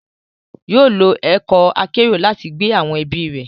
Yóò lo ọkọ akero lati gbé awọn ẹbi rẹ